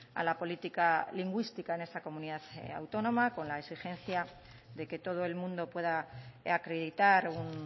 a la política lingüística en esta comunidad autónoma con la exigencia de que todo el mundo pueda acreditar un